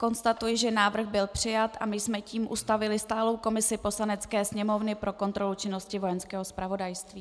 Konstatuji, že návrh byl přijat a my jsme tím ustavili stálou komisi Poslanecké sněmovny pro kontrolu činnosti Vojenského zpravodajství.